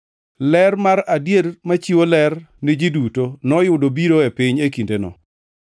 Ler mar adier machiwo ler ni ji duto noyudo biro e piny e kindeno.